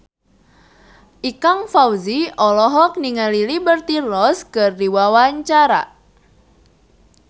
Ikang Fawzi olohok ningali Liberty Ross keur diwawancara